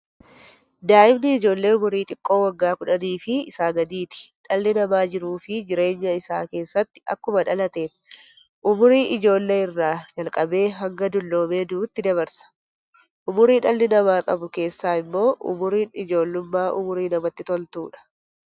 Daa'imni ijoollee umurii xiqqoo waggaa 10 fi isaa gadiiti. Dhaalli namaa jiruuf jireenya isaa keessatti akkuma dhalateen, umurii ijoollee irraa jalqabee hanga dulluumee du'uutti dabarsa. Umurii dhalli namaa qabu keessaa immoo, umuriin ijoollummaa umurii namatti toltuudha.